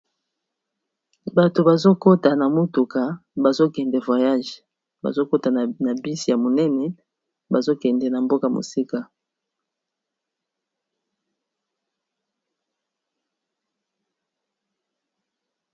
Batu bazo kota na motuka bazo kende voyage, bazo kota na bus ya monene bazo kende na mboka mosika .